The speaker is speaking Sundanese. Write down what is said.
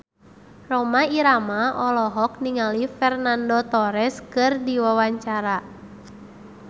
Rhoma Irama olohok ningali Fernando Torres keur diwawancara